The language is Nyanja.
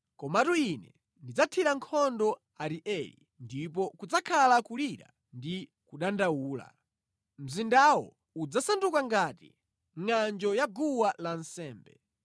Komatu Ine ndidzathira nkhondo Arieli ndipo kudzakhala kulira ndi kudandaula, mzindawo udzasanduka ngati ngʼanjo ya guwa lansembe.